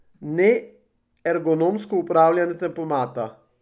Ne ergonomsko upravljanje tempomata.